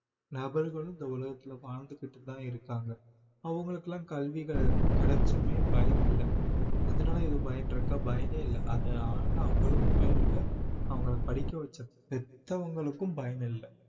நபர்களும் இந்த உலகத்திலே வாழ்ந்துக்கிட்டு தான் இருக்காங்க அவங்களுக்கெல்லாம் கல்விகள் கிடைச்சுமே பயனில்லை அதனால எதும் பயன் இருக்கா பயனே இல்லை அதனால அவங்களுக்கும் பயனில்லை அவங்களை படிக்க வைச்ச பெத்தவங்களுக்கும் பயனில்லை